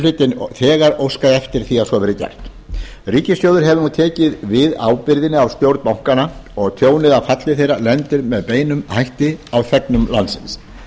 hlutinn þegar óskað eftir því að a veðri gert ríkissjóður hefur nú tekið við ábyrgðinni af stjórn bankanna og tjónið af falli þeirra lendir með beinum hætti á þegnum landsins